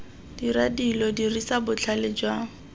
dira dilo dirisa botlhale jwa